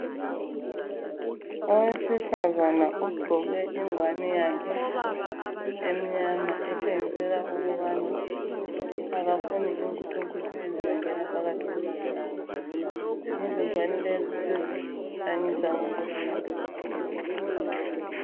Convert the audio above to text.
Owesifazana ogqoke ingwane yakhe emnyama etshengisela ukubana akafuni inkuthunkuthu ezizangena phakathi kobuso bakhe. Izingwane lezi sezihlanyisa wonke umuntu jikelele.